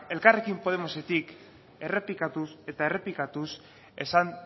elkarrekin podemosetik errepikatuz eta errepikatuz esan